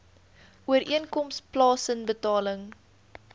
ooreenkoms plaasen betaling